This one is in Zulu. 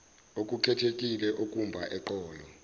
okukhethekile okumba eqolo